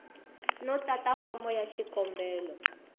no tata fomo ya xikombelo